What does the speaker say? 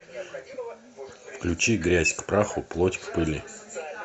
включи грязь к праху плоть к пыли